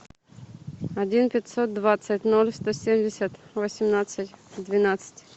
один пятьсот двадцать ноль сто семьдесят восемнадцать двенадцать